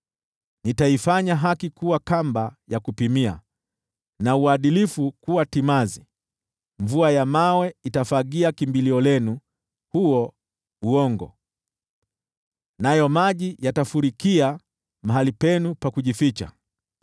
Nitaifanya haki kuwa kamba ya kupimia na uadilifu kuwa timazi; mvua ya mawe itafagia kimbilio lenu, huo uongo, nayo maji yatafurikia mahali penu pa kujificha.